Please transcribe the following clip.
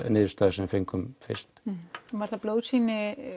niðurstöðuna sem við fengum fyrst var það blóðsýni